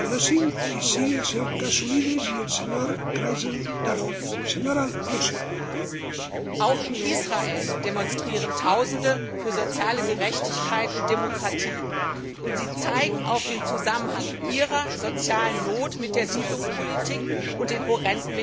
Herr Präsident! Auch in Israel demonstrieren Tausende für soziale Gerechtigkeit und Demokratie und zeigen den Zusammenhang zwischen ihrer sozialen Not und der Siedlungspolitik und den horrenden Militärausgaben auf.